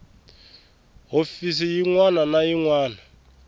hofisi yin wana na yin